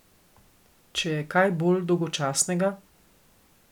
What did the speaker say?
Če je kaj bolj dolgočasnega!